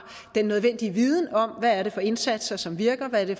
den nødvendige viden om hvad det er for indsatser som virker og hvad det